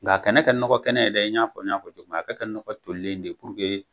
Nka a kɛnɛ kɛ nɔgɔ kɛnɛ yɛrɛ dɛ, n y'a fɔ n y'a fɔ cogo min ,a ka kɛ nɔgɔ tolilen de ye puruke